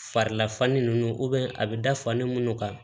Farila fani nunnu a bi da fa ni munnu ka